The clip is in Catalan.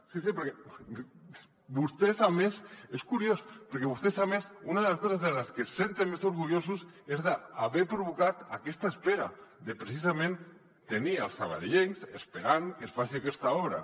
sí sí perquè vostès a més és curiós una de les coses de les que es senten més orgullosos és d’haver provocat aquesta espera de precisament tenir els sabadellencs esperant que es faci aquesta obra